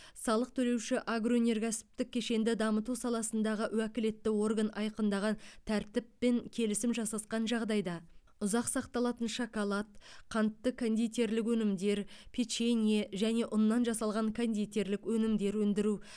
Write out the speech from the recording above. салық төлеуші агроөнеркәсіптік кешенді дамыту саласындағы уәкілетті орган айқындаған тәртіппен келісім жасасқан жағдайда ұзақ сақталатын шоколад қантты кондитерлік өнімдер печенье және ұннан жасалған кондитерлік өнімдер өндіру